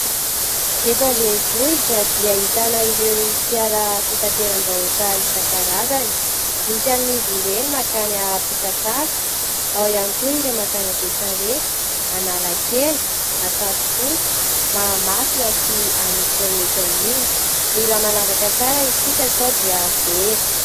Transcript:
Eto andrenivohitra dia ahitana ireo fiara fitateram-bahoaka isankarazany. Misy amin'izy ireny mankany Ampitatafika, ao ihany koa ireo mankany a Besarety, Analakely, Ankadifotsy, Mahamasina sy anosy rehetra iny. Mila manavaka tsara isika sao dia very.